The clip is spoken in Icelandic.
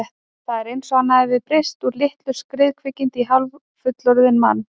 Það var eins og hann hefði breyst úr litlu skriðkvikindi í hálffullorðinn mann.